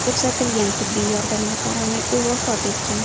Ko‘rsatilgan tibbiy yordamga qaramay, u vafot etgan.